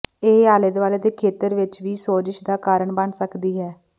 ਇਹ ਆਲੇ ਦੁਆਲੇ ਦੇ ਖੇਤਰ ਵਿੱਚ ਵੀ ਸੋਜਸ਼ ਦਾ ਕਾਰਨ ਬਣ ਸਕਦੀ ਹੈ